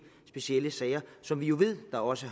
specielle sager som vi jo ved der også